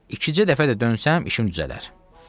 İkicə dəfə də dönsəm, işim düzələr.